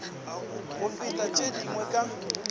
go feta tše dingwe ka